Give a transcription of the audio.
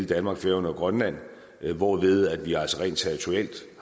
danmark færøerne og grønland hvorved vi altså rent territorialt